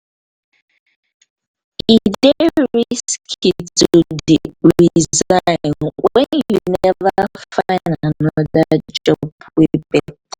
e dey risky to dey resign wen you neva find anoda job wey beta.